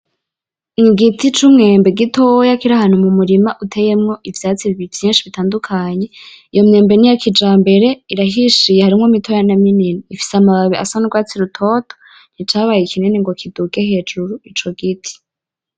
Igiti c'umwembe gitoya kiri ahantu mu murima uteyemwo ivyatsi vyinshi bitandukanye, iyo myembe niya kijambere irahishiye harimwo mitoya na minini, ifise amababi aa nurwatsi rutoto nticabaye kinini ngo kiduge hejuru ico giti.